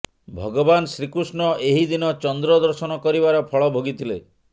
ଭଗବାନ ଶ୍ରୀକୃଷ୍ଣ ଏହି ଦିନ ଚନ୍ଦ୍ର ଦର୍ଶନ କରିବାର ଫଳ ଭୋଗିଥିଲେ